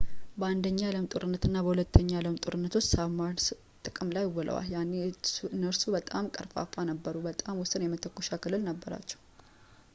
በአንደኛው የዓለም ጦርነት እና በሁለተኛው የዓለም ጦርነት ውስጥ ሳብማርንስ ጥቅም ላይ ውለው ነበር ያኔ እነሱ በጣም ቀርፋፋ ነበሩ እና በጣም ውስን የመተኮሻ ክልል ነበራቸው